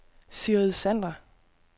Sigrid Sander